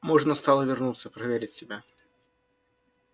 можно стало вернуться проверить себя